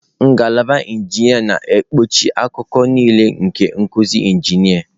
Ngalaba injinia na-ekpuchi akụkụ niile nke nkuzi injinia.